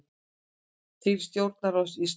Til stjórnarráðs Íslands